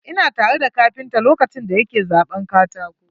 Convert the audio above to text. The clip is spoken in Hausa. Ina tare da kapinta lokacin da ya ke zaɓan katakon.